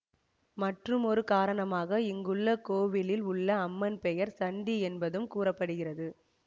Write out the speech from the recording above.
மற்றுமொரு காரணமாக இங்குள்ள கோவிலில் உள்ள அம்மன் பெயர் சண்டி என்பதும் கூற படுகிறது